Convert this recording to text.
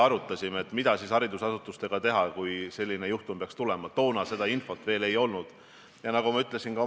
Ma arvan, et ma ei eksi, aga ma vist ütlesin kas Kaja Kallase või Keit Pentus-Rosimannuse küsimuse peale, et ma teen enda poolt kõik, et suhtlus Vabariigi Valitsuse ja Riigikogu vahel muuta veel tihedamaks.